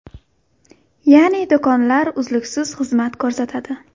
Ya’ni do‘konlar uzluksiz xizmat ko‘rsatadi.